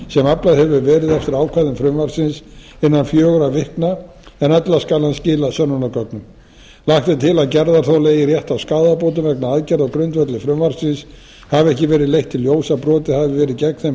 sem aflað hefur verið eftir ákvæðum frumvarpsins innan fjögurra vikna en ella skal hún skila sönnunargögnum lagt er til að gerðarþoli eigi rétt á skaðabótum vegna aðgerða á grundvelli frumvarpsins hafi ekki verið leitt í ljós að brotið hafi verið gegn þeim